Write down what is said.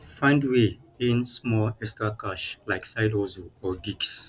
find way earn small extra cash like side hustle or gigs